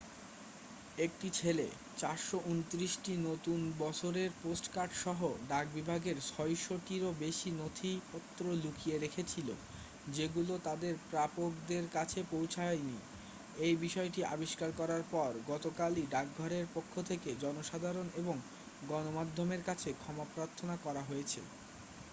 একটি ছেলে 429টি নতুন বছরের পোস্টকার্ড সহ ডাকবিভাগের 600 টিরও বেশি নথিপত্র লুকিয়ে রেখেছিল যেগুলো তাদের প্রাপকদের কাছে পৌঁছায়নি এই বিষয়টি আবিষ্কার করার পর গতকালই ডাকঘরের পক্ষ থেকে জনসাধারণ এবং গণমাধ্যমের কাছে ক্ষমাপ্রার্থনা করা হয়েছে